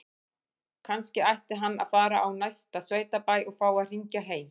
Kannski ætti hann að fara á næsta sveitabæ og fá að hringja heim?